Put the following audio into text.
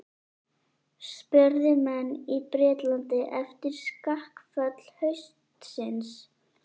spurðu menn í Bretlandi eftir skakkaföll haustsins.